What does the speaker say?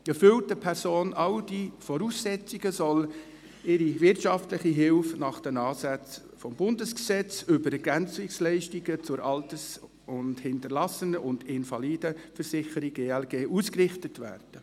Erfüllt eine Person all diese Voraussetzungen, soll ihre wirtschaftliche Hilfe nach den Ansätzen des Bundesgesetzes über Ergänzungsleistungen zur Alters-, Hinterlassenen- und Invalidenversicherung (ELG) ausgerichtet werden.